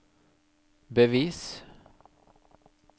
bevis